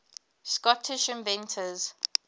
scottish inventors